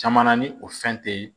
Caman na ni o fɛn tɛ yen